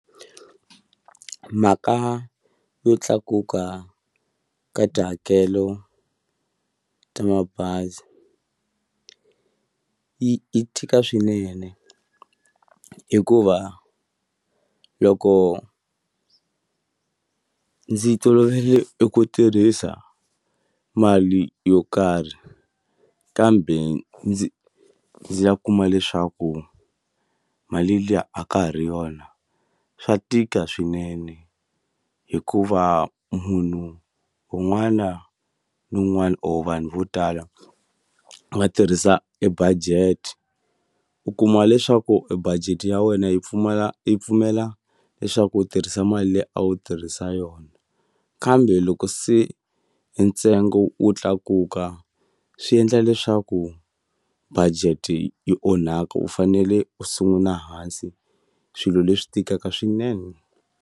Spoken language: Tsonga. Mhaka yo tlakuka ka tihakelo ta mabazi yi yi tika swinene hikuva loko ndzi tolovele eku tirhisa mali yo karhi, kambe ndzi ya kuma leswaku mali liya a ka ha ri yona swa tika swinene. Hikuva munhu un'wana na un'wana or vanhu vo tala va tirhisa e budget. U kuma leswaku e budget ya wena yi pfumala yi pfumela leswaku u tirhisa mali leyi a wu tirhisa yona, kambe loko se hi ntsengo wu tlakuka swi endla leswaku budget-i yi onhaka u fanele u sungula hansi. Swilo leswi tikaka swinene.